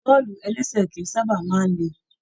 Bọ́ọ̀lù-ẹlẹ́sẹ̀ kìí sábà máa n lè.